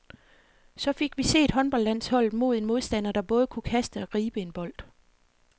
Så fik vi set håndboldlandsholdet mod en modstander, der både kunne kaste og gribe en bold.